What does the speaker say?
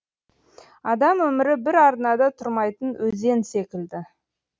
адам өмірі бір арнада тұрмайтын өзен секілді